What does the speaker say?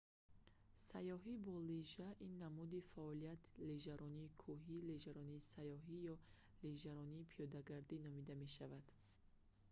сайёҳӣ бо лижа ин намуди фаъолият лижаронии кӯҳи лижаронии сайёҳӣ ё лижаронии пиёдагардӣ номида мешавад